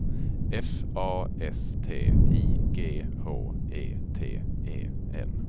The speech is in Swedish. F A S T I G H E T E N